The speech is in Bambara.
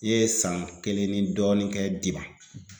I ye san kelen ni dɔɔnin kɛ